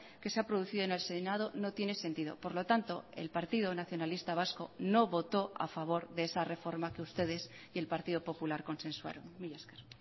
que se ha producido en el senado no tiene sentido por lo tanto el partido nacionalista vasco no votó a favor de esa reforma que ustedes y el partido popular consensuaron mila esker